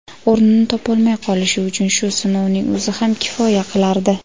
o‘rnini topolmay qolishi uchun shu sinovning o‘zi ham kifoya qilardi.